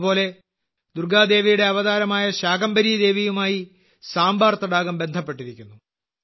അതുപോലെ ദുർഗ്ഗാദേവിയുടെ അവതാരമായ ശാകംഭരി ദേവിയുമായി സാംബാർ തടാകം ബന്ധപ്പെട്ടിരിക്കുന്നു